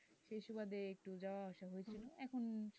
সেই সময়তে যা অসুবিধা হয়েছিল এখন সুস্থ আছি,